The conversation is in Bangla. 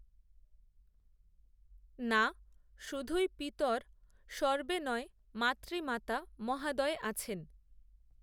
না শুধুই পিতরঃ সর্বে নয় মাতৃমাতা মহাদয় আছেন